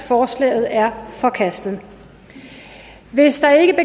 forslaget er forkastet hvis